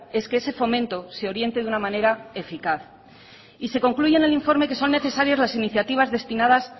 es que ese fomento se oriente de una manera eficaz y se concluye en el informe que son necesarias las iniciativas destinadas